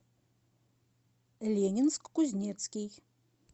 ленинск кузнецкий